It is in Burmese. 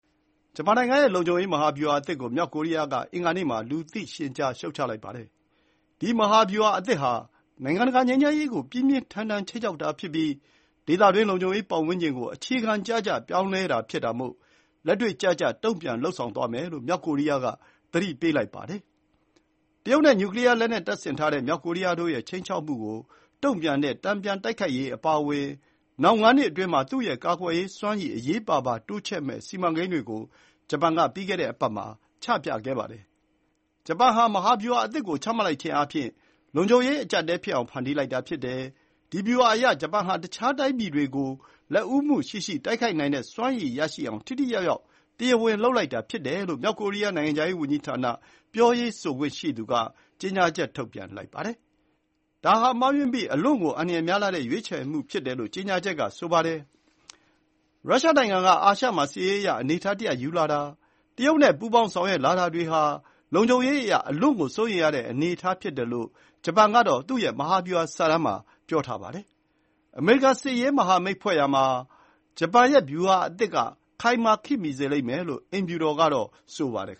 ဂျပန်နိုင်ငံရဲ့လုံခြုံရေးမဟာဗျူဟာအသစ်ကို မြောက်ကိုရီးယားက အင်္ဂါနေ့မှာ လူသိရှင်ကြား ရှုတ်ချလိုက်ပါတယ်။ ဒီ မဟာဗျူဟာအသစ်ဟာ နိုင်ငံတကာငြိမ်းချမ်းရေးကို ပြင်းပြင်းထန်ထန် ခြိမ်းခြောက်တာဖြစ်ပြီး ဒေသတွင်းလုံခြုံရေးပတ်ဝန်းကျင်ကို အခြေခံကျကျ ပြောင်းလဲတာဖြစ်တာမို့ လက်တွေ့ကျကျ တုံ့ပြန်လုပ်ဆောင်သွားမယ်လို့ မြောက်ကိုရီးယားက သတိပေးလိုက်ပါတယ်။ တရုတ်နဲ့ နျူကလီယားလက်နက်တပ်ဆင်ထားတဲ့ မြောက်ကိုရီးယားတို့ရဲ့ခြိမ်းခြောက်မှုကို တုံ့ပြန်နိုင်တဲ့ တန်ပြန်တိုက်ခိုက်ရေးအပါအဝင် နောက် ၅ နှစ်အတွင်းမှာ သူ့ရဲ့ကာကွယ်ရေးစွမ်းရည်ကို အရေးပါပါတိုးချဲ့မယ့်စီမံကိန်းတွေကို ဂျပန်က ပြီးခဲ့တဲ့အပတ်မှာ ချပြခဲ့ပါတယ်။ “ဂျပန်ဟာ မဟာဗျူဟာအသစ်ကို ချမှတ်လိုက်ခြင်းအားဖြင့် လုံခြုံရေး အကျပ်အတည်းဖြစ်အောင် ဖန်တီးလိုက်တာ ဖြစ်တယ်။ ဒီ ဗျူဟာအရ ဂျပန်ဟာ တခြားတိုင်းပြည်တွေကို လက်ဦးမှုရှိရှိ တိုက်ခိုက်နိုင်တဲ့စွမ်းရည်ရရှိအောင် ထိထိရောက်ရောက် တရားဝင်လုပ်လိုက်တာ ဖြစ်တယ်” လို့ မြောက်ကိုရီးယား နိုင်ငံခြားရေးဝန်ကြီးဌာန ပြောရေးဆိုခွင့်ရှိသူက ကြေညာချက် ထုတ်ပြန်လိုက်ပါတယ်။ ဒါဟာ မှားယွင်းပြီး အလွန့်ကို အန္တရာယ်များလှတဲ့ ရွေးချယ်မှုဖြစ်တယ်လို့ ကြေညာချက်က ဆိုပါတယ်။ ရုရှားနိုင်ငံက အာရှမှာ စစ်ရေးအရ အနေအထားတရပ် ယူလာတာ၊ တရုတ်နဲ့ ပူးပေါင်းဆောင်ရွက်လာတာတွေဟာ လုံခြုံရေးအရ အလွန့်ကို စိုးရိမ်ရတဲ့ အနေအထားဖြစ်တယ်လို့ ဂျပန် ရဲ့ မဟာဗျူဟာ စာတမ်းကဆိုပါတယ်။ အမေရိကန်နဲ့ စစ်ရေး မဟာမိတ်ဖွဲ့ရာမှာ ဂျပန်ရဲ့ဗျူဟာအသစ်က ခိုင်မာ ခေတ်မီစေလိမ့်မယ်လို့ အိမ်ဖြူတော်ကတော့ ဆိုပါတယ်